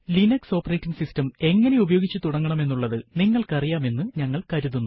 Linux operating system എങ്ങനെ ഉപയോഗിച്ചു തുടങ്ങണമെന്നുള്ളത് നിങ്ങൾക്കു അറിയാം എന്ന് ഞങ്ങൾ കരുതുന്നു